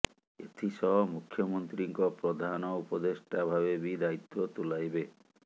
ଏଥି ସହ ମୁଖ୍ୟମନ୍ତ୍ରୀଙ୍କ ପ୍ରଧାନ ଉପଦେଷ୍ଟା ଭାବେ ବି ଦାୟିତ୍ବ ତୁଲାଇବେ